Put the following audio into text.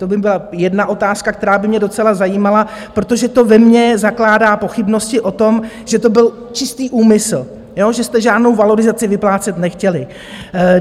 To by byla jedna otázka, která by mě docela zajímala, protože to ve mně zakládá pochybnosti o tom, že to byl čistý úmysl, že jste žádnou valorizaci vyplácet nechtěli.